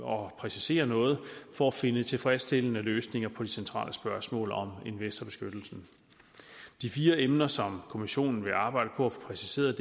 og præcisere noget for at finde tilfredsstillende løsninger på de centrale spørgsmål om investorbeskyttelsen de fire emner som kommissionen vil arbejde på at få præciseret er